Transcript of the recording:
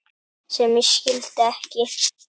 sem ég skildi ekki